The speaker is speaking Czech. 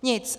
Nic.